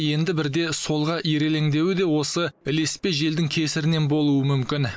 енді бірде солға ирелеңдеуі де осы ілеспе желдің кесірінен болуы мүмкін